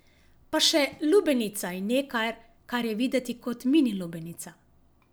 Pa še lubenica in nekaj, kar je videti kot mini lubenica?